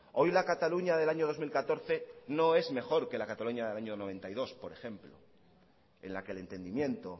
la cataluña del año dos mil catorce no es mejor que la cataluña del año mil novecientos noventa y dos por ejemplo en la que el entendimiento